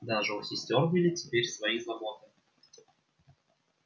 даже у сестёр были теперь свои заботы